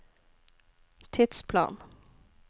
tidsplan